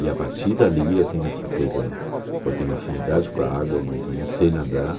E a partir dali eu tenho essa coisa, eu tenho afinidade com a água, mas eu não sei nadar.